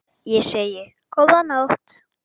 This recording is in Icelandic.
Ég segi: Góða nótt!